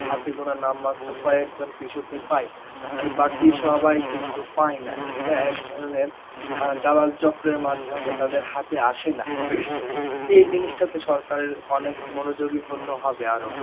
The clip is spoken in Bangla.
হাতে গোনা নামমাত্র কয়েকজন কৃষকই পায়. আর বাকি সবাই কিন্তু পায় না, এটা এক ধরনের অ্যাঁ দালাল চক্রের মাধ্যমে তাদের হাতে আসে না. এই জিনিসটা তে সরকারের অনেক মনোযোগী হতে হবে আরো,